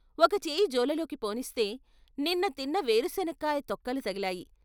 ఒక చేయి జోలెలోకి పోనిస్తే నిన్నతిన్న పేరుశనక్కాయ తొక్కలు తగిలాయి.